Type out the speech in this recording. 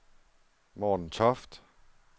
Morten Toft